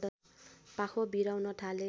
पाखो बिराउन थाले